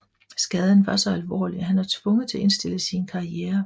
Skaden var så alvorlig at han er tvunget til at indstille sin karriere